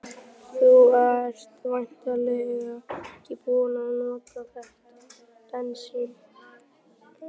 Þú ert væntanlega ekki búinn að nota þetta bensín?